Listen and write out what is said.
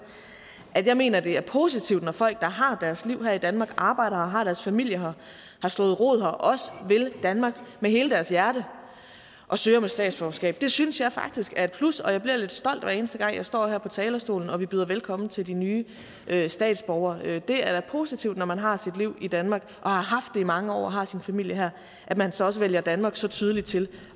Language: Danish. at jeg mener det er positivt når folk der har deres liv her i danmark arbejder her og har deres familie har og har slået rod her også vil danmark med hele deres hjerte og søger om et statsborgerskab det synes jeg faktisk er et plus og jeg bliver lidt stolt hver eneste gang jeg står her på talerstolen og vi byder velkommen til de nye statsborgere det er da positivt når man har sit liv i danmark og har haft det i mange år og har sin familie her at man så også vælger danmark så tydeligt til